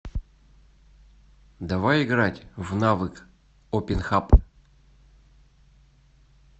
давай играть в навык опенхаб